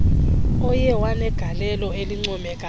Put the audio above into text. oye wanegaieio elincoomekayo